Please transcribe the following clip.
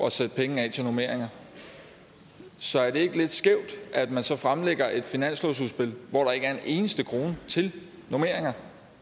at sætte penge af til normeringer så er det ikke lidt skævt at man så fremlægger et finanslovsudspil hvor der ikke er en eneste krone til normeringer